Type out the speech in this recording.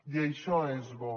i això és bo